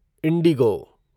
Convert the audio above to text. Indigo